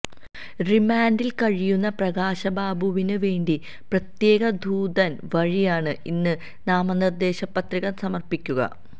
റിമാന്ഡില് കഴിയുന്ന പ്രകാശ്ബാബുവിന് വേണ്ടി പ്രത്യേക ദൂതന് വഴിയാണ് ഇന്ന് നാമനിര്ദ്ദേശപത്രിക സമര്പ്പിക്കുക